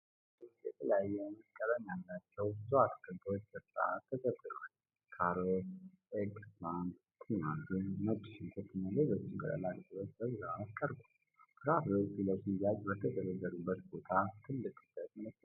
በገበያ ውስጥ የተለያየ ዓይነት ቀለም ያላቸው ብዙ አትክልቶች በሥርዓት ተደርድረዋል። ካሮት፣ ኤግፕላንት፣ ቲማቲም፣ ነጭ ሽንኩርት እና ሌሎችም ቅጠላ ቅጠሎች በብዛት ቀርበዋል። ፍራፍሬዎቹ ለሽያጭ በተደረደሩበት ቦታ ትልቅ ክብደት መለኪያ አለ።